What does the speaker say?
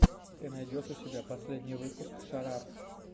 ты найдешь у себя последний выпуск шарап